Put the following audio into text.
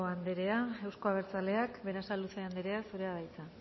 anderea euzko abertzaleak berasaluze anderea zurea da hitza